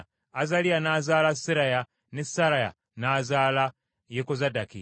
Azaliya n’azaala Seraya, ne Seraya n’azaala Yekozadaki;